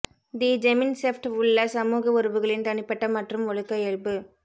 தி Gemeinschaft உள்ள சமூக உறவுகளின் தனிப்பட்ட மற்றும் ஒழுக்க இயல்பு